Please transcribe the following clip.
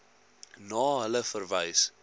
na hulle verwys